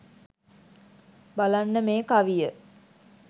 බලන්න මේ කවිය.